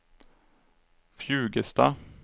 Fjugesta